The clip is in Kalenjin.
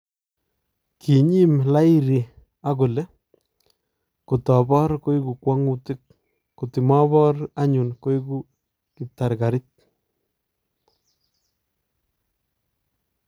"kinyiim Lahiri akole , 'kotoboor , koeku kwang'utik , kotimaboor anyuun koeku kibtarkarit